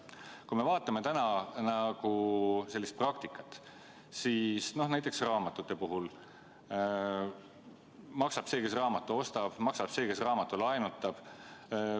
Kui me vaatame praegust praktikat, siis näiteks raamatute puhul maksab see, kes raamatu ostab, maksab see, kes raamatu laenutab.